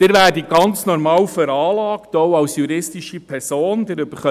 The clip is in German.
Sie werden, auch als juristische Person, ganz normal veranlagt.